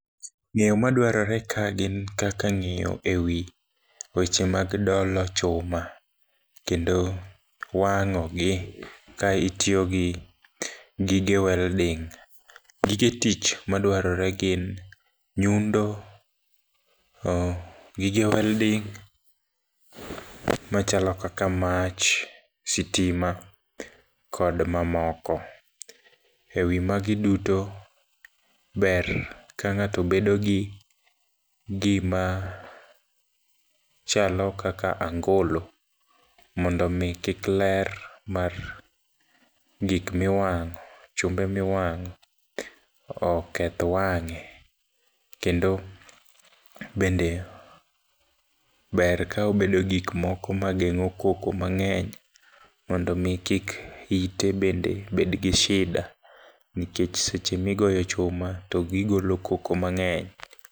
Ng'eyo madwarore ka gin kaka ng'eyo e wi weche mag dolo chuma, kendo wang'ogi ka itiyogi gige welding, gige tich madwarore gin nyundo, gige welding machalo kaka mach, sitima kod mamoko. E wi magi duto, ber ka ng'ato bedogi gima chalo kaka angolo mondo mi kik ler mar gik miwang'o, chumbe miwang'o oketh wang'e, kendo bende ber ka obedo gikmoko mang'eng'o koko moko mang'eny mondomi kik ite bedgi shida, nikech seche migoyo chuma togigolo koko mang'eny.